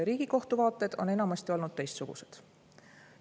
Riigikohtu vaated on enamasti olnud teistsugused.